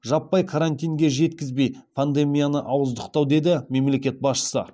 жаппай карантинге жеткізбей пандемияны ауыздықтау деді мемлекет басшысы